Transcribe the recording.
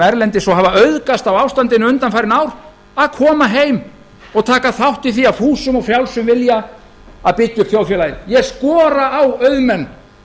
erlendis og hafa auðgast á ástandinu undanfarin ár að koma heim og taka þátt í því af fúsum og frjálsum vilja að byggja upp þjóðfélagið ég skora á auðmenn